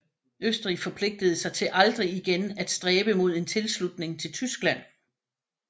Østrig forpligtede sig til aldrig igen af stræbe mod en tilslutning til Tyskland